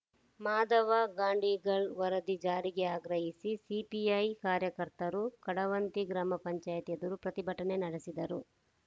ಮಾದವ ಗಾಡೀನ್ಗಲ್ ವರದಿ ಜಾರಿಗೆ ಆಗ್ರಹಿಸಿ ಸಿಪಿಐ ಕಾರ್ಯಕರ್ತರು ಕಡವಂತಿ ಗ್ರಾಮ ಪಂಚಾಯಿತಿ ಎದುರು ಪ್ರತಿಭಟನೆ ನಡೆಸಿದರು